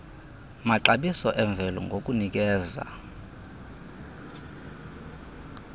maxabiso emvelo ngokunikeza